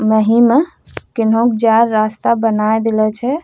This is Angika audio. मही में केन्हो के जाय के रास्ता बनाए देला छै।